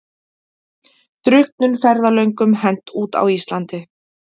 Drukknum ferðalöngum hent út á Íslandi